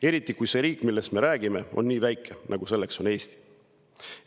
Eriti kui see riik, millest me räägime, on nii väike, nagu on Eesti.